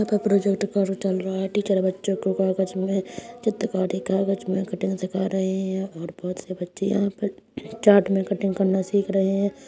यहाँ पर प्रोजेक्ट कार्य चल रहा है। टीचर बच्चों को कागज मे चित्रकारी कागज मे कटिंग सीखा रही हैं और बहुत से बच्चे यहाँं पर चार्ट में कटिंग करना सीख रहे हैं।